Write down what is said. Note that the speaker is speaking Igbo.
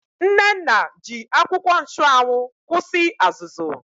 Nnenna ji akwụkwọ nchụanwụ kwụsị azụzụ.